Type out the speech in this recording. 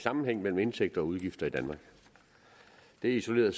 sammenhæng mellem indtægter og udgifter i danmark det er isoleret